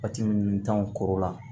Pati minnu t'anw kɔrɔ la